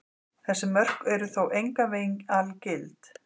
Þessi mörk eru þó engan veginn algild.